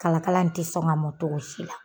Kalakala in tɛ sɔn ka mɔn togo si la.